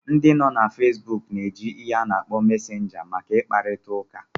Ndị nọ na Fesbuk na-eji ihe ana akpo Mesenga maka ịkparịta ụka